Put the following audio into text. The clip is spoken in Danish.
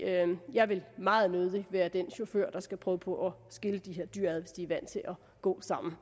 jeg vil meget nødig være den chauffør der skal prøve på at skille de her dyr ad hvis de er vant til at gå sammen